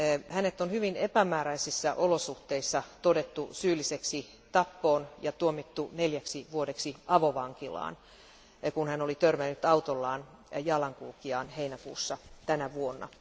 Hänet on hyvin epämääräisissä olosuhteissa todettu syylliseksi tappoon ja tuomittu neljäksi vuodeksi avovankilaan, kun hän oli törmännyt autollaan jalankulkijaan heinäkuussa tänä vuonna.